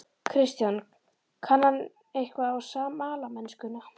Kristján: Kann hann eitthvað á smalamennskuna?